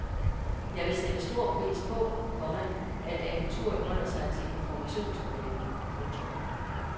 Jeg vil sætte stor pris på, komma at agenturet holder sig til informationsopgaven. punktum